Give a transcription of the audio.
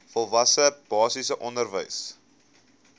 volwasse basiese onderwys